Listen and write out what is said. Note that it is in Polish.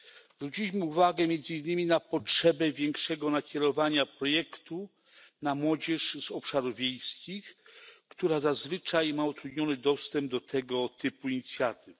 Zwróciliśmy uwagę między innymi na potrzebę większego nakierowania projektu na młodzież z obszarów wiejskich, która zazwyczaj ma utrudniony dostęp do tego typu inicjatyw.